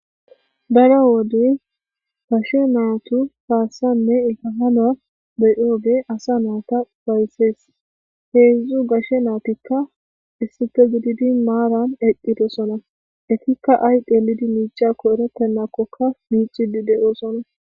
Darro wode gashe nayiti kaeiwugegiyi assa ufayisesi. Hedzu gashe natti issipe gididi marrani eqidosona ettika ayi xelidi miciyakoka eretena miccidi dossona.